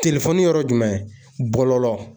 yɔrɔ jumɛn bɔlɔlɔ